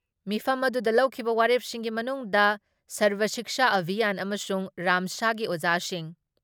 ꯃꯤꯐꯝ ꯑꯗꯨꯗ ꯂꯧꯈꯤꯕ ꯋꯥꯔꯦꯞꯁꯤꯡꯒꯤ ꯃꯅꯨꯡꯗ ꯁꯔꯕ ꯁꯤꯛꯁꯥ ꯑꯚꯤꯌꯥꯟ ꯑꯃꯁꯨꯡ ꯔꯥꯝꯁꯥꯒꯤ ꯑꯣꯖꯥꯁꯤꯡ